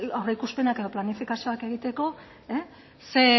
aurreikuspenak edo planifikazioak egiteko